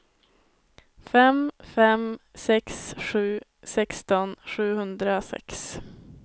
fem fem sex sju sexton sjuhundrasex